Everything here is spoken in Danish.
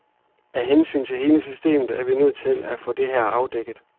Af hensyn til hele systemet er vi nødt til at få det her afdækket.